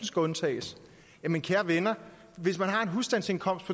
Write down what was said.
skal undtages jamen kære venner hvis man har en husstandsindkomst